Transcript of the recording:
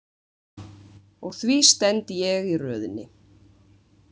Og því stend ég í röðinni.